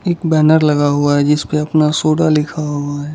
एक बैनर लगा हुआ है जिस पे अपना सोडा लिखा हुआ है।